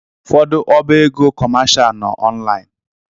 Ụfọdụ ọba ego kọmashal nọ ọnlaịn.